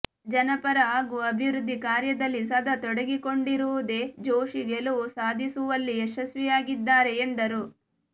ಜನಪರ ಹಾಗೂ ಅಭಿವೃದ್ಧಿ ಕಾರ್ಯದಲ್ಲಿ ಸದಾ ತೊಡಗಿಕೊಂಡಿರುವುದೇ ಜೋಶಿ ಗೆಲುವು ಸಾಧಿಸುವಲ್ಲಿ ಯಶಸ್ವಿಯಾಗಿದ್ದಾರೆ ಎಂದರು